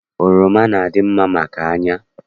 Oroma na- adị mma maka anya